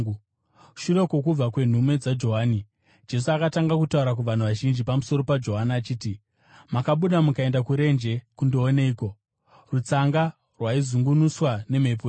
Shure kwokubva kwenhume dzaJohani, Jesu akatanga kutaura kuvanhu vazhinji pamusoro paJohani achiti, “Makabuda mukaenda kurenje kundooneiko? Rutsanga rwaizungunuswa nemhepo here?